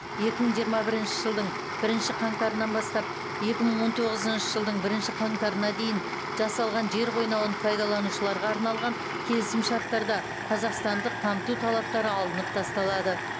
екі мың жиырма бірінші жылдың бірінші қаңтарынан бастап екі мың он тоғызыншы жылдың бірінші қаңтарына дейін жасалған жер қойнауын пайдаланушыларға арналған келісімшарттарда қазақстандық қамту талаптары алынып тасталады